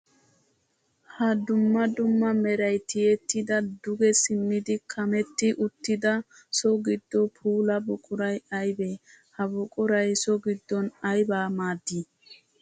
Ha dumma dumma meray tiyettidda duge simmiddi kametti uttidda so gido puula buquray aybbe? Ha buquray so giddon ayba maaddi?